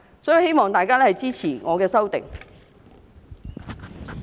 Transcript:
所以，我希望大家支持我的修正案。